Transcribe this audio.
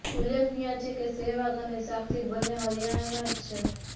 ઉલ્લેખનીય છે કે સહેવાગ અને સાક્ષી બંને હરિયાણાના જ છે